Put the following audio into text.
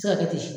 Se ka kɛ ten